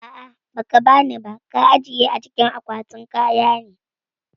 A'ah ba kabani ba, ka ajiye a cikin kwatin kaya ne